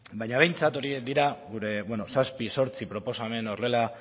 baina behintzat horiek dira gure beno zazpi zortzi proposamen horrela